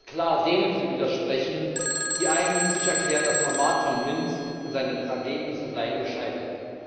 Es ist klar denen zu widersprechen, die eigennützig erklären, das Format von Minsk und seine Ergebnisse seien gescheitert.